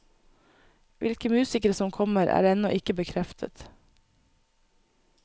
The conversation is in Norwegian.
Hvilke musikere som kommer, er ennå ikke bekreftet.